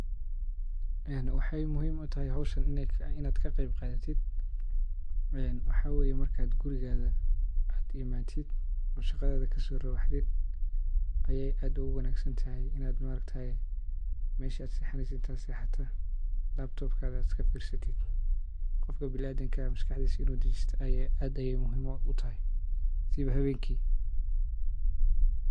Waxey muhiim utahy howshan inaad kaqeyb qadhatid waxaa waeye markaad gurigaaga immatid oon shaqadhaadha kasoobaxdid eye aad uguwanaasantahy meshad sexanesud aad sexatid laptopkaga iskafiirsatid gofku binaadamku maskaxdisu inuu dajisto aad bey muhiim ugutahy siiba habeenkii.